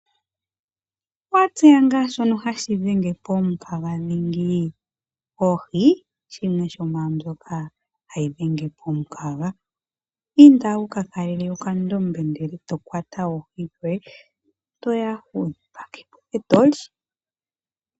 Owa tseya ngaa shono hashi dhenge omu kaga dhingi? Oohi, shimwe shomwaa mbyoka hayi dhenge omu kaga. Inda wuka kalele oka ndombe ndele tokwata oohi dhoye, toya wudhi pakepo etoli.